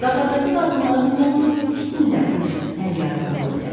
Qatarardakı qadınların yalnız ikisində bu cür əl yaylığı ola bilər.